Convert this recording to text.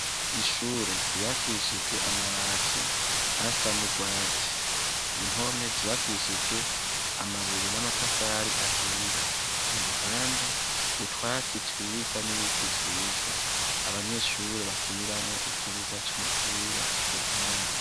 ishure ryubakishijwe amabati asa n'urwatsi impome zubakishijwe amabuye n'amatafari ahiye i ruhande utwatsi twiza n'ibiti vyiza abanyeshure bakiniramo ikibuga c'umupira ku ruhande